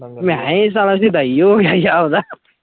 ਮੈ ਅਹਿਆ ਇਹ ਸਾਲਾ ਸ਼ੁਦਾਈ ਹੋਗਿਆ ਜਾਪਦਾ।